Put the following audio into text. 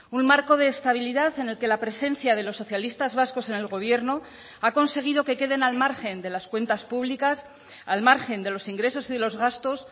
un marco de estabilidad en el que la presencia de los socialistas vascos en el gobierno ha conseguido que queden al margen de las cuentas públicas al margen de los ingresos y de los gastos